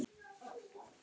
Þú hlóst bara að mér.